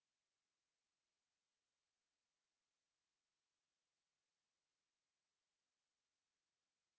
এই বিষয় বিস্তারিত তথ্যের জন্য contact @spokentutorial org তে ইমেল করুন